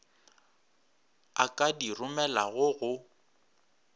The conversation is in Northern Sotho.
a ka di romelago go